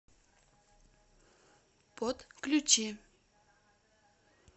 подключи